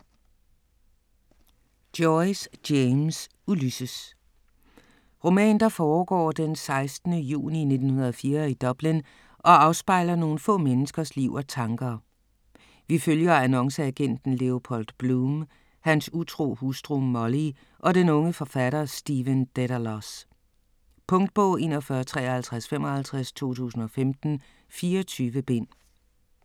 Joyce, James: Ulysses Roman der foregår den 16. juni 1904 i Dublin og afspejler nogle få menneskers liv og tanker. Vi følger annonceagenten Leopold Bloom, hans utro hustru Molly og den unge forfatter Stephen Dedalus. Punktbog 415355 2015. 24 bind.